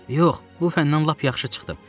Yox, bu fəndən lap yaxşı çıxdım.